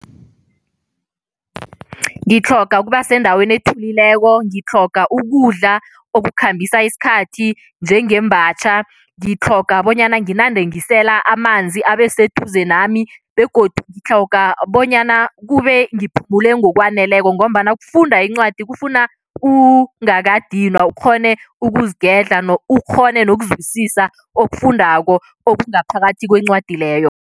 Ngitlhoga ukuba sendaweni ethulileko, ngitlhoga ukudla okukhambisa isikhathi, njengembatjha. Ngitlhoga bonyana nginande ngisela amanzi, abe seduze nami begodu ngitlhoga bonyana kube ngiphumule ngokwaneleko ngombana ukufunda incwadi kufuna ungakadinwa, ukghone ukuzigedla, ukghone nokuzwisisa ofundako okungaphakathi kwencwadi leyo.